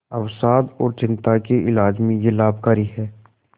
अवसाद और चिंता के इलाज में यह लाभकारी है